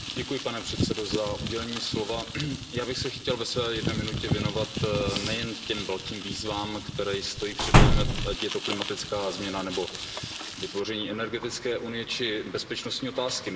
Pane předsedající, já bych se chtěl ve své jedné minutě věnovat nejen těm velkým výzvám, které stojí před námi, ať je to klimatická změna nebo vytvoření energetické unie či bezpečnostní otázky.